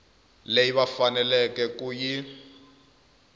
leyi va faneleke ku yi